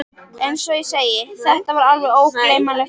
Eins og ég segi. þetta var alveg ógleymanleg ferð.